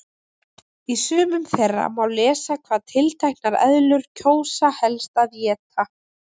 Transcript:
Í sumum þeirra má lesa hvað tilteknar eðlur kjósa helst að éta.